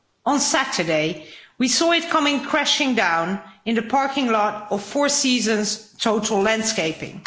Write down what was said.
On Saturday, we saw it coming crashing down in the parking lot of Four Seasons Total Landscaping.